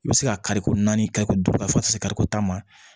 I bɛ se ka kariko naani kari ko dɔ fɔ ka se kariko ta ma